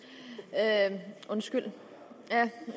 er et